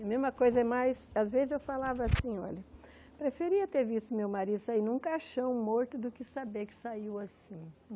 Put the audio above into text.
A mesma coisa é mais, às vezes eu falava assim, olha, preferia ter visto meu marido sair num caixão morto do que saber que saiu assim.